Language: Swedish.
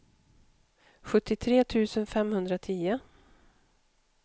sjuttiotre tusen femhundratio